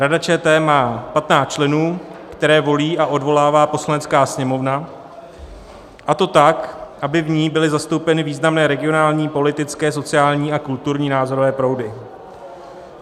Rada ČT má 15 členů, které volí a odvolává Poslanecká sněmovna, a to tak, aby v ní byly zastoupeny významné regionální, politické, sociální a kulturní názorové proudy.